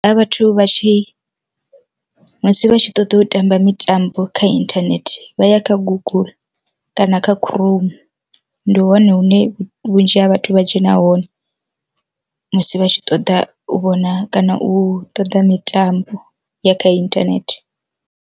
Vhathu vha tshi musi vha tshi ṱoḓa u tamba mitambo kha inthanethe vha ya kha guguḽu kana kha khuroumu, ndi hone hune vhunzhi ha vhathu vha dzhena hone musi vha tshi ṱoḓa u vhona kana u ṱoḓa mitambo ya kha inthanethe.